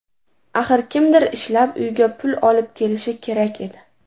Axir kimdir ishlab uyga pul olib kelishi kerak edi.